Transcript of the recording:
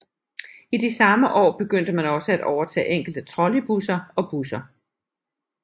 I de samme år begyndte man også at overtage enkelte trolleybusser og busser